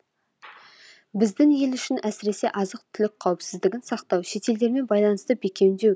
біздің ел үшін әсіресе азық түлік қауіпсіздігін сақтау шетелдермен байланысты бекемдеу